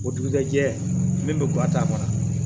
O dugujɛjɛ min bɛ guwa ta a kɔnɔ